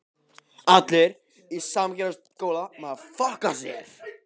Hafsteinn: Hvað finnst ykkur vera svona verst við snjóinn?